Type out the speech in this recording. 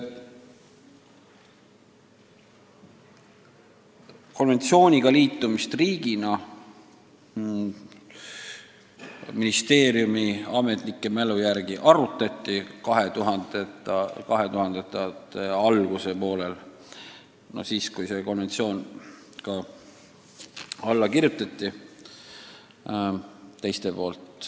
Konventsiooniga riigina liitumist arutati ministeeriumi ametnike sõnul 2000-ndate alguses, kui teised sellele konventsioonile alla kirjutasid.